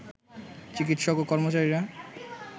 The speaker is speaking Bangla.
চিকিৎসক ও কর্মচারীরা